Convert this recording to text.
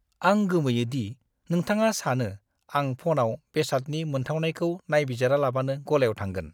आं गोमोयो दि नोंथाङा सानो आं फ'नाव बेसादनि मोनथावनाखौ नायबिजिरालाबानो गलायाव थांगोन।